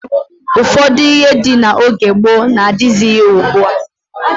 Ụfọdụ ihe dị n'oge gboo n'adịghịzị ugbua.